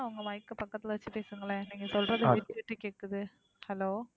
உங்க mike அ பக்கத்துல வச்சு பேசுங்களேன்? நீங்க சொல்றது விட்டு, விட்டு கேக்குது. hello.